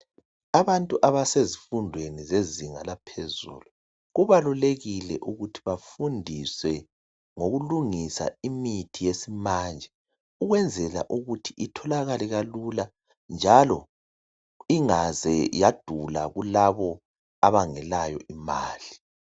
Abantu abasezifundweni zezinga laphezulu kubalulekile ukuthi bafundiswe ngokulungisa imithi yesimanje ukwenzela ukuthi itholakale kalula njalo ingaze yadula kulabo abangelayo imali